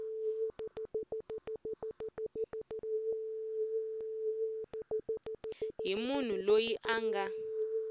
hi munhu loyi a nga